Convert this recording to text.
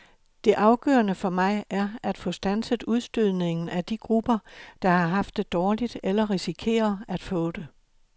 Det afgørende for mig er at få standset udstødningen af de grupper, der har haft det dårligt eller risikerer at få det.